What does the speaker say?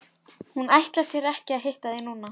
Hún ætlar sér ekki að hitta þig núna.